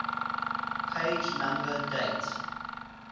page number date